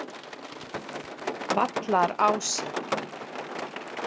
Vallarási